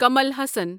Kamal Haasan